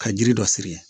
Ka jiri dɔ siri